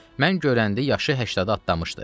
Mən görəndə yaşı 80-ə atlanmışdı.